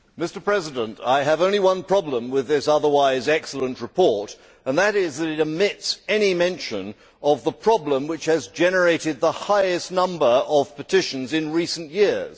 Mr President, I have only one problem with this otherwise excellent report, which is that it omits any mention of the problem which has generated the highest number of petitions in recent years.